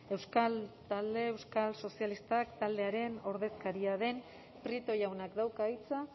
euskal sozialistak taldearen ordezkaria den prieto jaunak dauka hitza